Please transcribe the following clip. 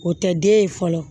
O tɛ den ye fɔlɔ